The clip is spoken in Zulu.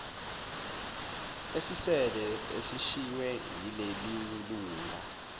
esisele esishiywe yilelilunga